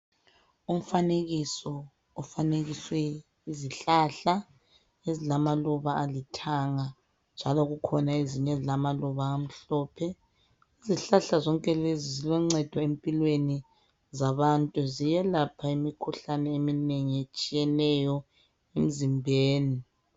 Umfanekiso kufanekiswe izihlahla ezilamaluba alithanga njalo kukhona ezinye ezilamaluba amhlophe. Izihlahla zonke lezi ziloncedo empilweni zabantu. Ziyelapha imikhuhlane eminengi etshiyeneyo emzimbeni.